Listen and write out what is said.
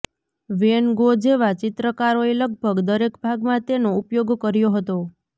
van Gogh જેવા ચિત્રકારોએ લગભગ દરેક ભાગમાં તેનો ઉપયોગ કર્યો હતો